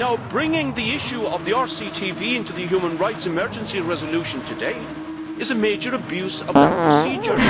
Bringing the issue of RCTV into the human rights emergency resolution today is a major abuse of that procedure.